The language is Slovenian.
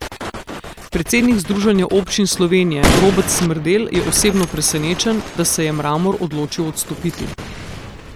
Predsednik Združenja občin Slovenije Robert Smrdelj je osebno presenečen, da se je Mramor odločil odstopiti.